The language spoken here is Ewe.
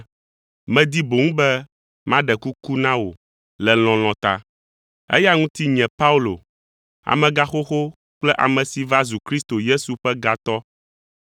medi boŋ be maɖe kuku na wò le lɔlɔ̃ ta. Eya ŋuti nye Paulo, amegãxoxo kple ame si va zu Kristo Yesu ƒe gatɔ